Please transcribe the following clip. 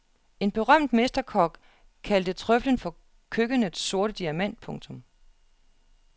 En berømt mesterkok kaldte trøflen for køkkenets sorte diamant. punktum